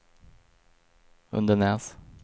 Undenäs